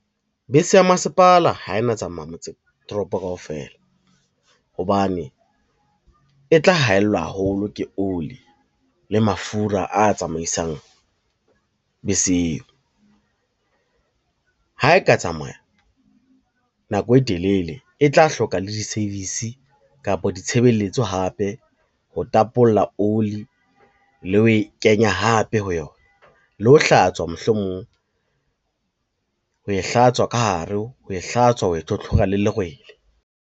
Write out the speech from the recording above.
Bese ya masepala ha e na tsamaya motse toropo kaofela, hobane e tla haellwa haholo ke oli le mafura a tsamaisang bese eo. Ha e ka tsamaya nako e telele e tla hloka le di-service kapa ditshebeletso hape, ho tapolla oli le ho e kenya hape ho yona, le ho hlatswa mohlomong ho e hlatswa ka hare, ho e hlatswa, ho e tlhotlhora le lerwele.